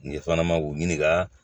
Ɲɛ fana ma k'u ɲininka